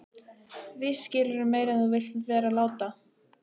Víst skilurðu meira en þú vilt vera láta.